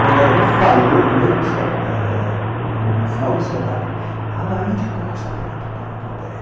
Quando ela me falou, no meio do espetáculo, no final do espetáculo,A Laíde Costa está na plateia.